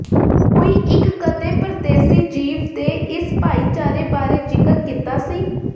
ਕੋਈ ਇੱਕ ਕਦੇ ਪਰਦੇਸੀ ਜੀਵ ਦੇ ਇਸ ਭਾਈਚਾਰੇ ਬਾਰੇ ਜ਼ਿਕਰ ਕੀਤਾ ਸੀ